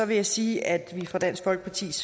vil jeg sige at vi fra dansk folkepartis